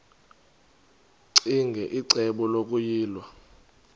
ccinge icebo lokuyilwa